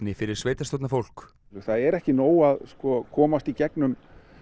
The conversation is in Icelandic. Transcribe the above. fyrir sveitarstjórnarfólk það er ekki nóg að komast í gegnum